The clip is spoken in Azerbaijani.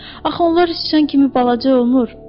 Axı onlar sıçan kimi balaca olmur.